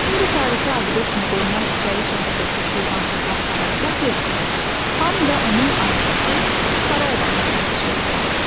İndi tarixi abidə kimi qorunan İçəri şəhərədəki Şirvanşahlar Saray kompleksində xan və onun ailəsi, saray adamları yaşayırdılar.